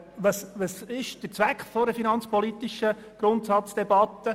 Was ist nun der Zweck einer solchen Debatte?